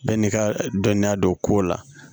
Bɛɛ n'i ka dɔnniya don ko la